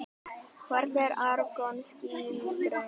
Hvernig er argon skilgreint?